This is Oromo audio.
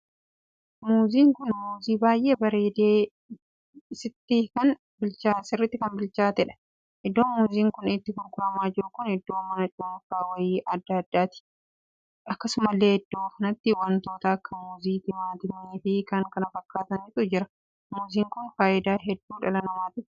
Muuziin kun muuzii baay'ee bareedee sitti kan bilchaateedhan. iddoo muuziin kun itti gurguramaa jiru kun iddoo mana cuunfaa wayii addaa addaati. akkasumallee iddoo kanatti wantoota akka muuzii, timaatimii fi kan kana fakkaatantu jira. muuzii kun faayidaa hedduu dhala namaatiif kenna.